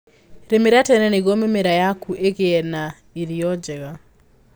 Rĩmĩra tene nĩguo mĩmera yaku ĩgie na ĩrio njega.